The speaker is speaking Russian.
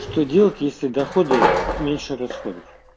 что делать если доходы меньше расходов